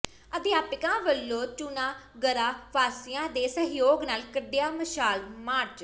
ਅਧਿਆਪਕਾਂ ਵਲੋਂ ਚੁਨਾਗਰਾ ਵਾਸੀਆਂ ਦੇ ਸਹਿਯੋਗ ਨਾਲ ਕੱਿਢਆ ਮਸ਼ਾਲ ਮਾਰਚ